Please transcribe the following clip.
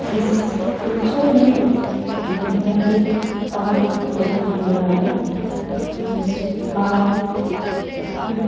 इस पिक्चर में हमें एक पार्क दिखाई दे रहा है जिस पार्क में --